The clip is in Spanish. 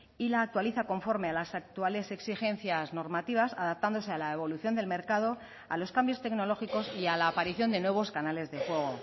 y la actualiza conforme a las actuales exigencias normativas adaptándose a la evolución del mercado a los cambios tecnológicos y a la aparición de nuevos canales de juego